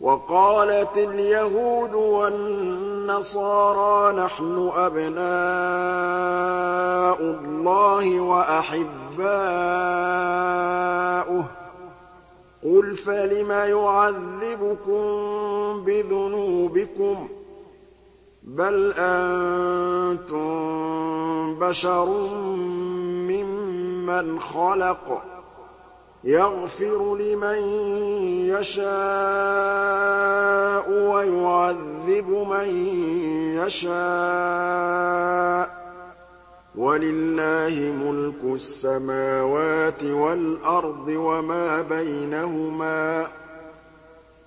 وَقَالَتِ الْيَهُودُ وَالنَّصَارَىٰ نَحْنُ أَبْنَاءُ اللَّهِ وَأَحِبَّاؤُهُ ۚ قُلْ فَلِمَ يُعَذِّبُكُم بِذُنُوبِكُم ۖ بَلْ أَنتُم بَشَرٌ مِّمَّنْ خَلَقَ ۚ يَغْفِرُ لِمَن يَشَاءُ وَيُعَذِّبُ مَن يَشَاءُ ۚ وَلِلَّهِ مُلْكُ السَّمَاوَاتِ وَالْأَرْضِ وَمَا بَيْنَهُمَا ۖ